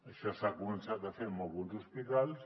això s’ha començat a fer en alguns hospitals